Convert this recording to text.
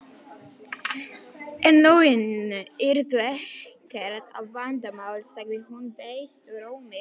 En launin yrðu ekkert vandamál, sagði hún beiskum rómi.